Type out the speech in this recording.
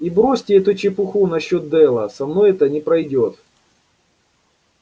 и бросьте эту чепуху насчёт дела со мной это не пройдёт